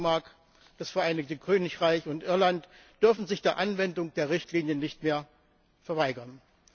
auch Dänemark, das Vereinigte Königreich und Irland dürfen sich der Anwendung der Richtlinie nicht mehr verweigern.